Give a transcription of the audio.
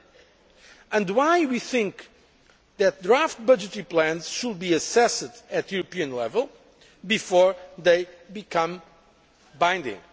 concern. That is why we think that draft budgetary plans should be assessed at European level before they become